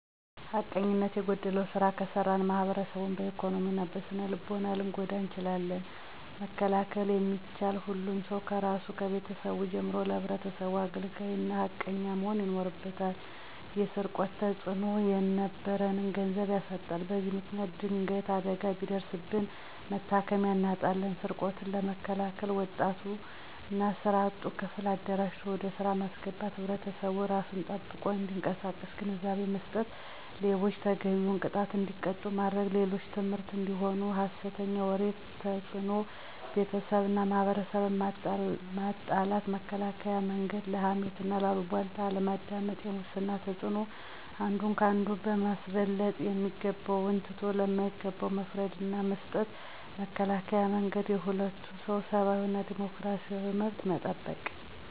ሀቀኘኝነት የጎደለዉ ስራ ከሰራን ማሕበረሰቡን በኢኮኖሚ እና በስነልቦና ልንጎዳ እንችላለን። መከላከል የሚቻለ፦ ሁሉም ሰዉ ከራሱና ከቤተሰቡ ጀምሮ ለሕብረተሰቡ አገልጋይ እና ሃቀኛ መሆን ይኖርበታል። የሰርቆት ተፅዕኖናኖ፦ የነበረንን ገንዘብ ያሳጣናል። በዚ ምክንያት ድንገት አደጋ ቢደርስብን መታከሚያ አናጣለን። ስርቆትን ለመከላከል፦ ወጣቱን እና ስራ አጡን ክፍል አደራጅቶ ወደ ስራ ማስገባት፣ ሕብረተሰቡ እራሱን ጠብቆ እንዲቀሳቀስ ግንዛቤ መስጠት፣ ሌቦችን ተገቢዉን ቅጣት እንዲቀጡ ማድረግ፦ ለሌሎች ትምህርት አንዲሆኑ። የሀሰተኛ ወሬ ተፅዕኖ፦ ቤተሰብንና ማሕበረሰብን ማጣላት። መከላከያ መንገድ፦ ለሀሜትና ለአሉባልታ ወሬ አለማዳመጥ። የሙስና ተፅዕኖ፦ አንዱን ከአንዱ በማስበለጥ የሚገባውን ትቶ ለማይገባው መፍረድ ናመስጠት። መከላከያ መንገድ፦ የሁሉንምሰዉ ሰብአዊና ዲሞክራሲያዊ መብት መጠበቅ።